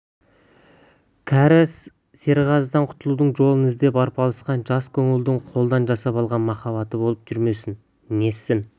кәрі серғазыдан құтылудың жолын іздеп арпалысқан жас көңілдің қолдан жасап алған махаббаты болып жүрмесе нетсін